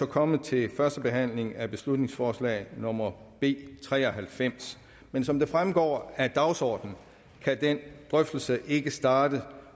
kommet til første behandling af beslutningsforslag nummer b tre og halvfems men som det fremgår af dagsordenen kan den drøftelse ikke starte